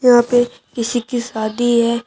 यहां पे किसी की शादी है।